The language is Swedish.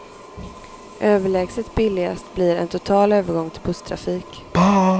Överlägset billigast blir en total övergång till busstrafik.